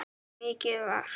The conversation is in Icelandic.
Mikið var.